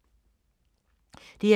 DR2